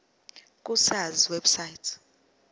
ku sars website